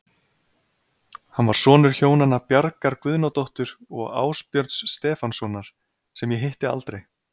Hann var sonur hjónanna Bjargar Guðnadóttur og Ásbjörns Stefánssonar, sem ég hitti aldrei.